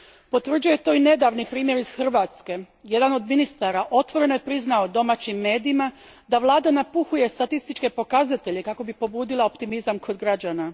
Potvrđuje to i nedavni primjer iz Hrvatske jedan od ministara otvoreno je priznao hrvatskim medijima da vlada napuhuje statističke pokazatelje kako bi pobudila optimizam kod građana.